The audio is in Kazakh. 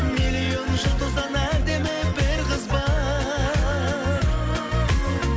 миллион жұлдыздан әдемі бір қыз бар